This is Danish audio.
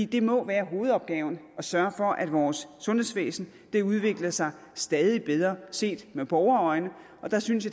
det må være hovedopgaven at sørge for at vores sundhedsvæsen udvikler sig stadig bedre set med borgerøjne og der synes